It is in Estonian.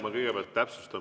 Ma kõigepealt täpsustan.